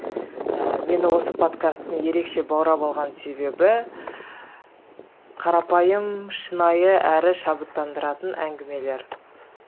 ііі мені осы подкасттың ерекше баурап алған себебі қарапайым шынайы әрі шабыттандыратын әңгімелер